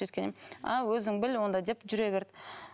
сөйткеннен кейін а өзің біл онда деп жүре берді